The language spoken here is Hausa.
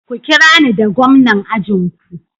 Ku kirani da gwamnan ajin ku.